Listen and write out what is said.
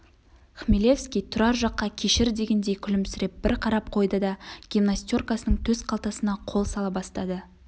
хмелевский тұрар жаққа кешір дегендей күлімсіреп бір қарап қойды да гимнастеркасының төс қалтасына қол сала бастады